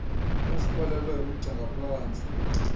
ezikrwelelwe umgca ngaphantsi